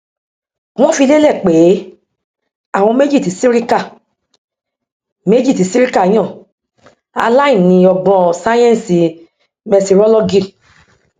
wọn fi lélẹ pé àwọn méjì tí sirika méjì tí sirika yàn aláìní ọgbọn sáyẹńsì mẹtirolọgì